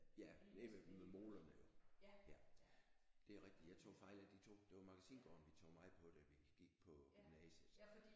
Ja nede ved ved molerne jo ja det er rigtigt jeg tog fejl af de to det var Magasingaarden vi tog meget på da vi gik på gymnasiet